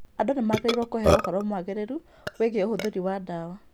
Andũ nĩmagĩrĩirwo nĩ kũheo ũhoro mwagĩrĩru wĩgiĩ ũhũthĩri wa ndawa